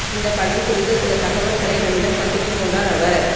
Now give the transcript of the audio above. இந்தப் படம் குறித்த சில தகவல்களை நம்மிடம் பகிர்ந்து கொண்டார் அவர்